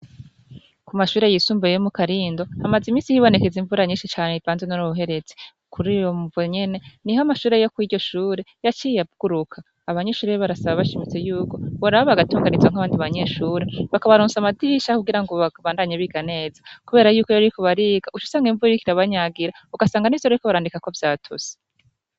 Ku mashure yisumbuye yo mu Karindo, hagize imisi hibonekeza imvura nyishi cane ivanze n'uruhuherezi. Kur'iyo mvo nyene, niho amashure yo kw'iryo shure yaciye aguruka. Abanyeshure barasaba bashimitse yuko boraba bagatunganirizwa nk'abandi banyeshure bakabaronsa amadirisha kugira ngo babandanye biga neza. Kubera yuko iyo bariko bariga, uc'usanga n'imvura iriko irabanyagira. Ugasanga n'ivyo bariko barandikako vyatose.